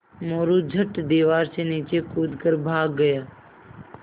मोरू झट दीवार से नीचे कूद कर भाग गया